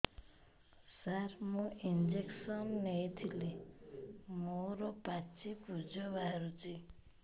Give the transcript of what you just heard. ସାର ମୁଁ ଇଂଜେକସନ ନେଇଥିଲି ମୋରୋ ପାଚି ପୂଜ ବାହାରୁଚି